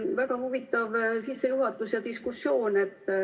Väga huvitav sissejuhatus ja diskussioon.